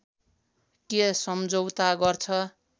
के सम्झौता गर्छ